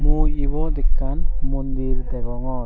mui ibot ekkan mondir degongor.